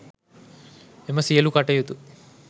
එම සියලු කටයුතු